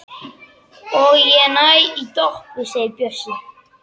Og ég næ í Doppu segir Bjössi.